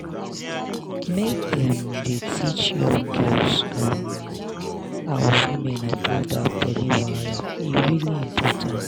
make dem dey teach young girls um and women about that belly wahala e really important